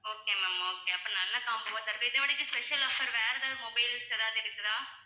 okay ma'am okay அப்ப நல்ல combo special offer வேற எதாவது mobiles எதாவது இருக்குதா?